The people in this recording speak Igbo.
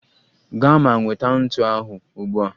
Gaa ma nweta ntu ahụ ugbu a!